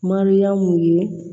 Mariyamu ye